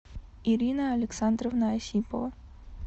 ирина александровна осипова